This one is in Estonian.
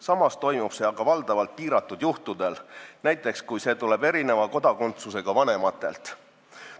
Samas antakse seda valdavalt piiratud juhtudel, näiteks kui taotlus tuleb erineva kodakondsusega vanematelt.